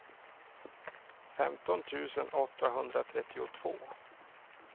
femton tusen åttahundratrettiotvå